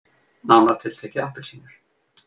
Nánar tiltekið appelsínur.